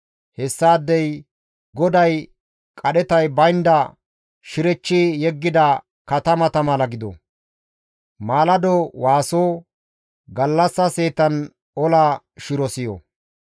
Hessaadey GODAY qadhetay baynda shirechchi yeggida katamata mala gido; maalado waaso, gallassa seetan ola shiro siyo.